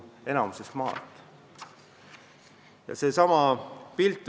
Enamikus on nad maalt pärit.